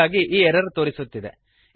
ಹಾಗಾಗಿ ಈ ಎರರ್ ತೋರಿಸುತ್ತಿದೆ